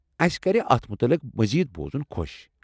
اَسہِ کرِ اتھ مُتعلق مزید بوزُن خوٚش ۔